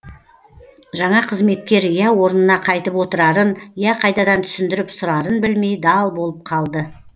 жаңа қызметкер я орнына қайтып отырарын я қайтадан түсіндіріп сұрарын білмей дал болып қалды